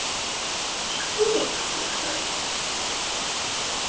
Sko, hugsaði ég.